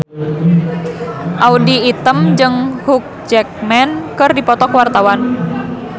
Audy Item jeung Hugh Jackman keur dipoto ku wartawan